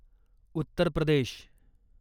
Uttar Pradesh